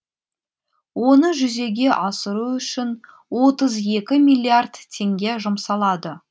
оны жүзеге асыру үшін отыз екі миллиард теңге жұмсалады